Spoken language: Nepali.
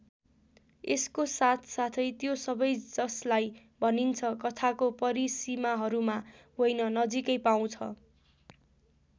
यसको साथ साथै त्यो सबै जसलाई भनिन्छ कथाको परिसीमाहरूमा होइन नजिकै पाउँछ।